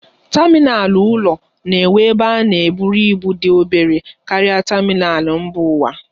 Tamịnal ụlọ na-enwe ebe a na-eburu ibu dị obere karịa tamịnal mba ụwa.